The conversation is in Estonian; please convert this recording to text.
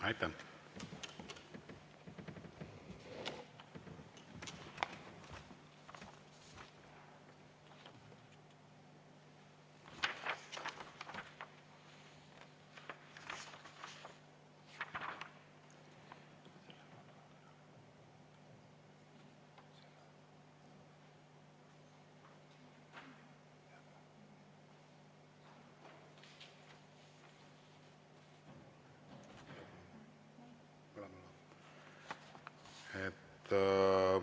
Aitäh!